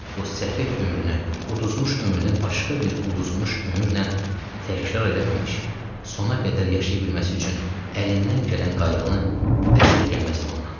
Bu səfeh ömrünü, uduzmuş ömrüylə təkrar eləməmiş sona qədər yaşaya bilməsi üçün əlimdən gələn qayğını əsirgəməzdim ondan.